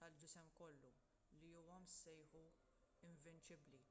tal-ġisem kollu li huwa sejħu invinċibbli